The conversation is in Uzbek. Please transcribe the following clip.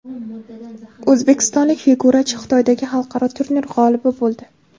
O‘zbekistonlik figurachi Xitoydagi xalqaro turnir g‘olibi bo‘ldi.